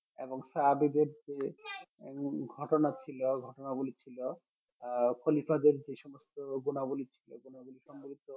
এবং যে ঘটনা ছিল ঘটনা গুলি ছিল আহ খলিফাদের যে সমস্ত গুনাবলী ছিল গুনাবলী সমৃদ্ধ